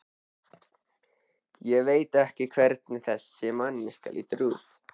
Ég veit ekki hvernig þessi manneskja lítur út.